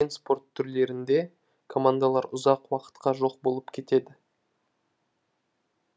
көптеген спорт түрлерінде командалар ұзақ уақытқа жоқ болып кетеді